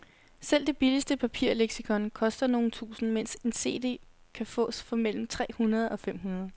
Selv det billigste papirleksikon koster nogle tusinde, mens en cd kan fås for mellem tre hundrede og fem hundrede.